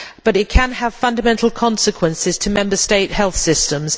It can have fundamental consequences for Member States' health systems.